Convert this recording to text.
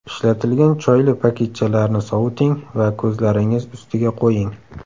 Ishlatilgan choyli paketchalarni soviting va ko‘zlaringiz ustiga qo‘ying.